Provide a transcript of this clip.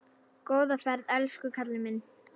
Góða ferð elsku kallinn minn.